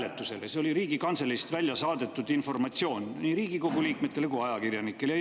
See oli Riigikantseleist välja saadetud informatsioon nii Riigikogu liikmetele kui ajakirjanikele.